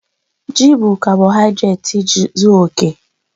Ji bụ kabọhaịdreeti zuọ oke.